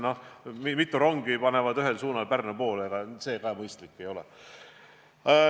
Kui mitu rongi panevad ühes suunas Pärnu poole, siis ega see mõistlik ei ole.